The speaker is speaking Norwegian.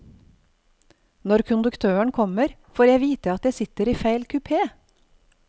Når konduktøren kommer, får jeg vite at jeg sitter i feil kupé.